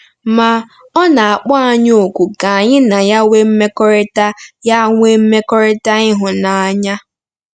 Ma, ọ na-akpọ anyị òkù ka anyị na ya nwee mmekọrịta ya nwee mmekọrịta ịhụnanya.